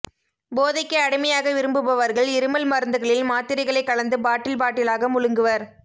போதைக்கு அடிமையாக விரும்புபவர்கள் இருமல் மருந்துகளில் மாத்திரைகளை கலந்து பாட்டில் பாட்டில் ஆக முழுங்குவர்